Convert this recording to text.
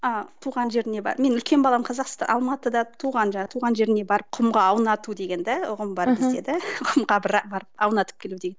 ыыы туған жеріне барып менің үлкен балам алматыда туған туған жерге барып құмға аунату деген да ұғым бар бізді да құмға бір апарып аунатып келу деген